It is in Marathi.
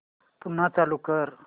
पुन्हा चालू कर